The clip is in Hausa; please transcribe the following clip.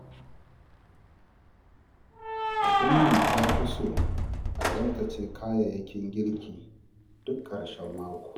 Ummi ta fi so a tsaftace kayayyakin girki duk karshen mako.